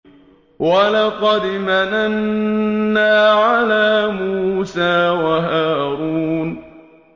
وَلَقَدْ مَنَنَّا عَلَىٰ مُوسَىٰ وَهَارُونَ